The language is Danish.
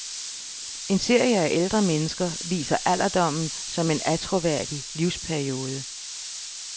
En serie af ældre mennesker viser alderdommen som en attråværdig livsperiode.